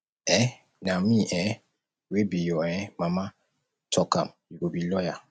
um na me um wey be your um mama talk am you go be lawyer